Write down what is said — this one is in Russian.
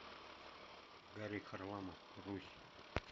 гарик харламов русь